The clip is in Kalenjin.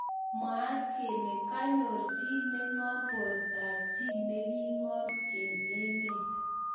Mwat kele kanyor chi nengom borto ab ji nekingom eng emet